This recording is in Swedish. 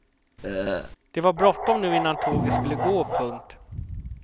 Det var bråttom nu innan tåget skulle gå. punkt